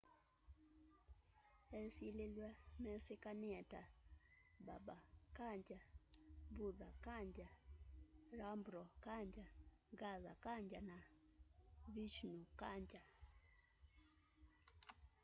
esililw'a mesikanie ta baba kanjar bhutha kanjar rampro kanjar gaza kanjar na vishnu kanjar